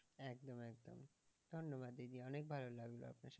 ধন্যবাদ দিদি অনেক ভালো লাগলো আপনার সাথে।